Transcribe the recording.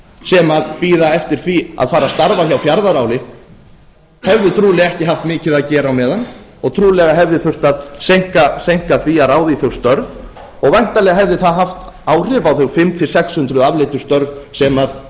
sem bíða eftir því að fara að starfa hjá fjarðaáli hefðu trúlega ekki haft mikið að gera á meðan og trúlega hefði þurft að seinka því að ráða í þau störf og væntanlega hefði það haft áhrif á þau fimm hundruð til sex hundruð afleiddu störf sem